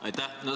Aitäh!